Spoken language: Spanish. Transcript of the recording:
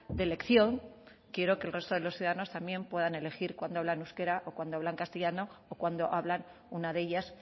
de elección quiero que el resto de los ciudadanos también puedan elegir cuando hablan euskera o cuando hablan castellano o cuando hablan una de ellas